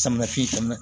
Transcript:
Samiyɛ fiyɛ ka na